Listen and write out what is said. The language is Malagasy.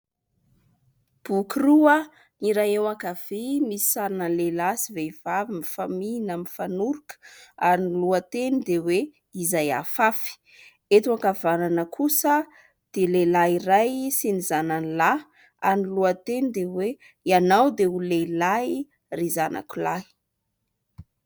Boky roa, ny iray eo ankavia misy sarina lehilahy sy vehivavy mifamihina mifanoroka, ary ny lohateny dia hoe : "Izay afafy". Eto ankavanana kosa dia lehilahy iray sy ny zanany lahy ary ny lohateny dia hoe :" Ianao dia lehilahy ry zanako lahy".